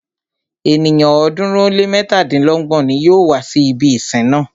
Ènìyàn ọ̀ọ́dúnrún ó lé mẹ́tàdínlọ́gbọ̀n ní yóò wá si ibi ìsìn náà.